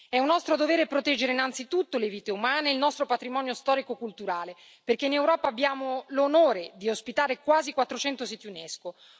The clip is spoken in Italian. È un nostro dovere proteggere innanzitutto le vite umane e il nostro patrimonio storico culturale, perché in Europa abbiamo l'onore di ospitare quasi 400 siti UNESCO.